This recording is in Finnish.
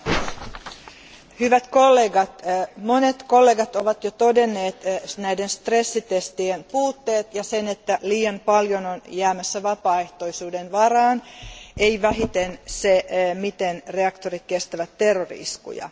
Arvoisa puhemies, hyvät kollegat, monet kollegat ovat jo todenneet näiden stressitestien puutteet ja sen, että liian paljon on jäämässä vapaaehtoisuuden varaan, ei vähiten se, miten reaktorit kestävät terrori iskuja.